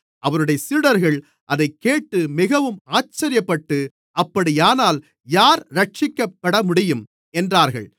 அவருடைய சீடர்கள் அதைக்கேட்டு மிகவும் ஆச்சரியப்பட்டு அப்படியானால் யார் இரட்சிக்கப்படமுடியும் என்றார்கள்